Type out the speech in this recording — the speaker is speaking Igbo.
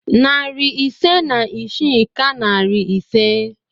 Narị ise na isii ka narị ise.